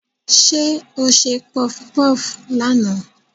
Ṣé o ṣe pọfupọ́fù lánàá?